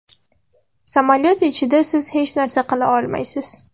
Samolyot ichida siz hech narsa qila olmaysiz.